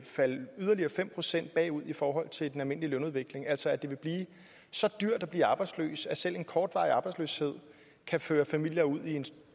falde yderligere fem procent i forhold til den almindelige lønudvikling altså at det vil blive så dyrt at blive arbejdsløs at selv en kortvarig arbejdsløshed kan føre familier ud i en